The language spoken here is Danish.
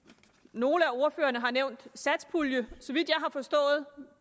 nogle af ordførerne har nævnt satspuljen